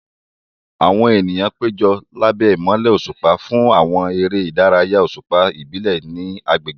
Àwọn ènìyàn péjọ lábẹ́ ìmọ́lẹ̀ òṣùpá fún àwọn eré ìdárayá òṣùpá ìbílẹ̀ ní agbègbè.